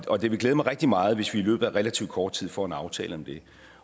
og det vil glæde mig rigtig meget hvis vi i løbet af relativt kort tid får en aftale om det